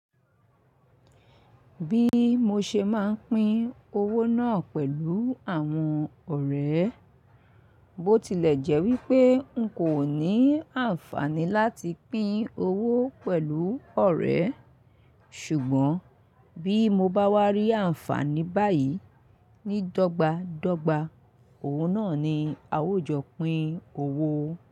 Bí mo ṣe máa ń pín owó náà pẹ̀lú àwọn ọ̀rẹ́, bó tilẹ̀ jẹ́ wípé n kò ní àǹfààní láti pín owó pẹ̀lú ọ̀rẹ́. Ṣùgbọ́n bí mo bá wá rí àǹfààní báyìí, ní dọ́gba dọ́gba, òwò náà ni a ó jọ pín owó.